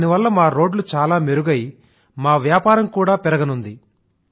దాని వల్ల మా రోడ్లు చాలా మెరుగై మా వ్యాపారం కూడా పెరగనుంది